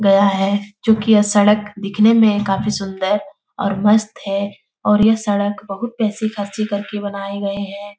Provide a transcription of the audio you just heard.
गया है जो कि सड़क दिखने में काफ़ी सुंदर और मस्त है और यह सड़क बहुत पैसे खर्चे कर के बनाई गई है।